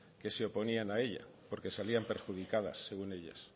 que se oponían a ella porque salían perjudicadas según ellas